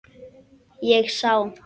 Ég sá.